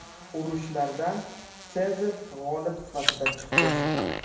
Urushlardan Sezar g‘olib sifatida chiqdi.